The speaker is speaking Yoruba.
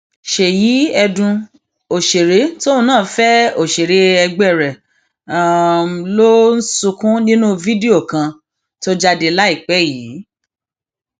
ṣèyí ẹdùn òṣèré tóun náà fẹ òṣèré ẹgbẹ um rẹ ló ń sunkún nínú fídíò kan um tó jáde láìpẹ yìí